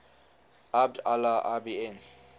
abd allah ibn